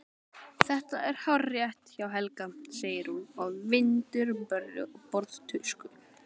Þetta er hárrétt hjá Helga, segir hún og vindur borðtusku.